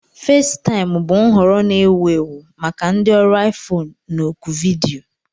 Fesitaim bụ nhọrọ na-ewu ewu maka ndị ọrụ iFone na oku vidiyo.